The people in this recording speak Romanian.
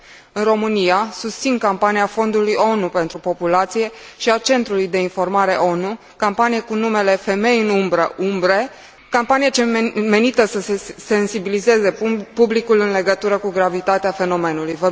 În România, susțin campania Fondului ONU pentru populație și a centrului de informare ONU, campanie cu numele Femei în umbră Umbre campanie menită să sensibilizeze publicul în legătură cu gravitatea fenomenului.